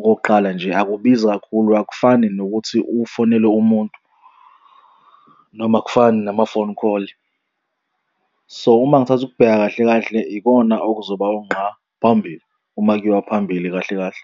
Okokuqala nje akubizi kakhulu akufani nokuthi ufonele umuntu noma akufani nama-phone call. So uma ngithatha ukubheka kahle kahle ikona okuzoba ungqa phambili uma kuyiwa phambili kahle kahle.